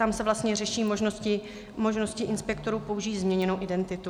Tam se vlastně řeší možnosti inspektorů použít změněnou identitu.